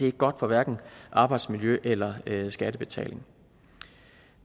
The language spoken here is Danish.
ikke godt for hverken arbejdsmiljø eller skattebetaling